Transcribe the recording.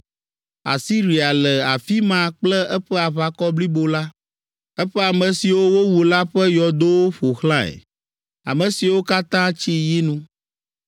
“Asiria le afi ma kple eƒe aʋakɔ blibo la; eƒe ame siwo wowu la ƒe yɔdowo ƒo xlãe, ame siwo katã tsi yinu.